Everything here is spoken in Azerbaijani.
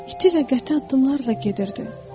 iti və qəti addımlarla gedirdi.